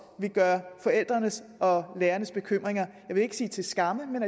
vil gøre forældrenes og lærernes bekymringer jeg vil ikke sige til skamme men